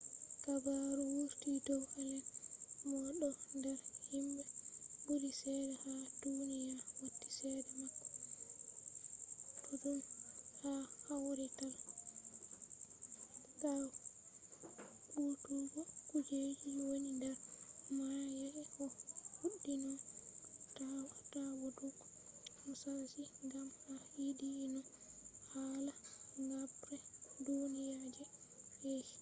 habaru wurti dow allen mo ɗo nder himɓe ɓuri cede ha duniya wati cede mako ɗuɗɗum ha kawrital ɗaɓɓutuggo kujeji woni nder mayo yake o fuɗɗino ɗaɓɓutuggo musashi gam o yiɗi no hala habre duniya je fe’i